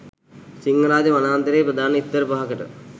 සිංහරාජ වනාන්තරයේ ප්‍රධාන ස්ථර පහකට